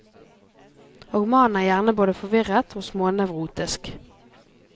Og mannen er gjerne både forvirret og smånevrotisk.